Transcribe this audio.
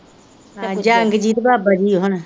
ਜੰਗਜੀਤ ਬਾਬਾ ਜੀ ਹੁਣ